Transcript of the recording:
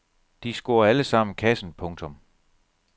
De scorer alle sammen kassen. punktum